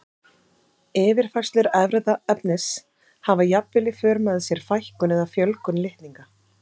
Yfirfærslur erfðaefnis hafa jafnvel í för með sér fækkun eða fjölgun litninga.